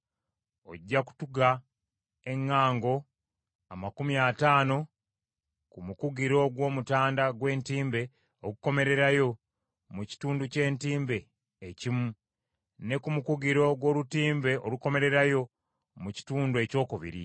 Ojja kutunga eŋŋango amakumi ataano ku mukugiro gw’omutanda gw’entimbe ogukomererayo mu kitundu ky’entimbe ekimu, ne ku mukugiro gw’olutimbe olukomererayo mu kitundu ekyokubiri.